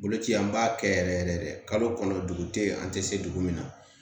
Boloci an b'a kɛ yɛrɛ yɛrɛ de kalo kɔnɔ dugu tɛ yen an tɛ se dugu min na